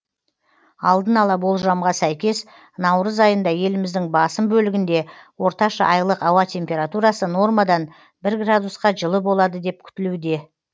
алдын ала болжамға сәйкес наурыз айында еліміздің басым бөлігінде орташа айлық ауа температурасы нормадан бір градусқа жылы болады деп күтілуде